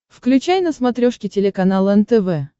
включай на смотрешке телеканал нтв